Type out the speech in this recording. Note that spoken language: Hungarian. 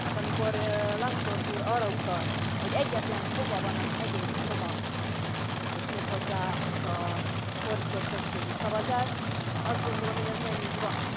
Tehát, amikor Lambsdorff úr arra utalt, hogy egyetlen foga van az egész csomagnak és méghozzá ez a fordított többségi szavazás, azt gondolom, hogy ez nem így van.